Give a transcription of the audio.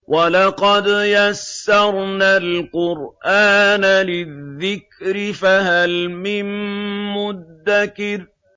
وَلَقَدْ يَسَّرْنَا الْقُرْآنَ لِلذِّكْرِ فَهَلْ مِن مُّدَّكِرٍ